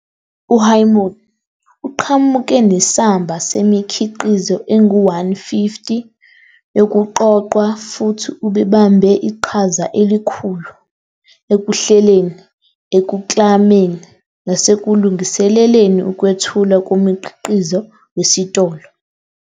U-Hyomin uqhamuke nesamba semikhiqizo engu-150 yokuqoqwa, futhi ubebambe iqhaza elikhulu ekuhleleni, ekuklameni, nasekulungiseleleni ukwethulwa komkhiqizo wesitolo.